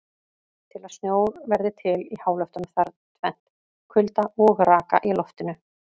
Til að snjór verði til í háloftunum þarf tvennt: Kulda og raka í loftinu.